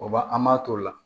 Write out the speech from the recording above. O ba an b'a t'o la